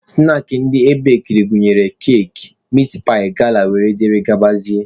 Snaakị ndị ebekiri gụnyere keki, mitpaị, gala wdg.